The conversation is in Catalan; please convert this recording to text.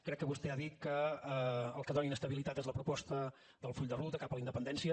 crec que vostè ha dit que el que dóna inestabilitat és la proposta del full de ruta cap a la independència